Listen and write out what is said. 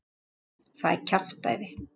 Það er kjaftæði.